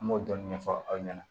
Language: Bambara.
An b'o dɔɔnin ɲɛfɔ aw ɲɛna